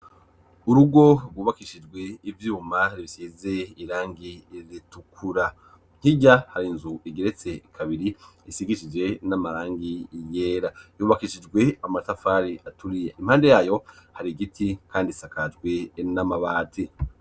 Urugo rwubakishijwe ivyuma bisize irangi ritukura hirya hari inzu igeretse kabiri isigisije n'amarangi yera yubakishijwe amatafari aturi impande yayo hari igiti kandi isakajwe n'amabati.